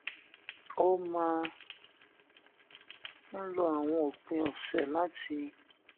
ó máa ń lo àwọn òpin òsè láti